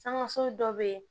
Sankaso dɔ bɛ yen